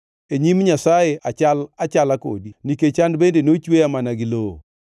E nyim Nyasaye achal achala kodi nikech an bende nochweya mana gi lowo.